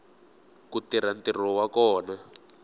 ku tirha ntirho wa kona